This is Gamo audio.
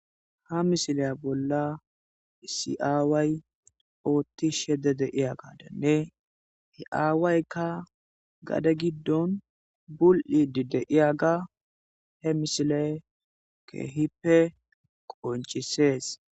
Ha misilay bolla isi'aaway ootti shede deiya gadanne hi'aawaykka gade giddon bul'idi deiyaga he mishile kehippe qonchisees.